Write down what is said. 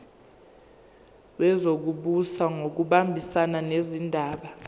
wezokubusa ngokubambisana nezindaba